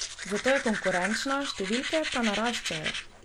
Zato je konkurenčna, številke pa naraščajo.